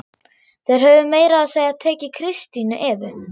Þeir höfðu meira að segja tekið Kristínu Evu!